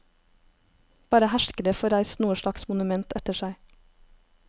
Bare herskere får reist noe slags monument etter seg.